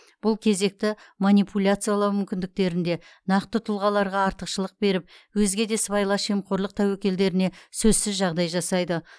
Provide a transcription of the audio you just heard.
бұл кезекті манипуляциялау мүмкіндіктерінде нақты тұлғаларға артықшылық беріп өзге де сыбайлас жемқорлық тәуекелдеріне сөзсіз жағдай жасайды